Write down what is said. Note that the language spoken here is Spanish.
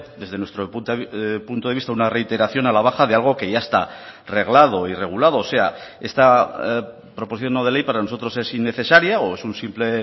desde nuestro punto de vista una reiteración a la baja de algo que ya está reglado y regulado o sea esta proposición no de ley para nosotros es innecesaria o es un simple